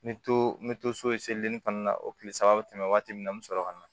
N bɛ to n bɛ to so ye seleri fana na o tile saba bɛ tɛmɛ waati min na n bɛ sɔrɔ ka na